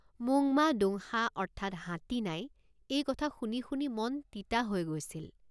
মোংমা দোংসা অৰ্থাৎ হাতী নাই এই কথা শুনি শুনি মন তিতা হৈ গৈছিল।